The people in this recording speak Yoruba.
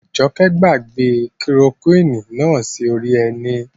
Àjọkẹ́ gbàgbé kilorokúwìnì náà sí orí ẹní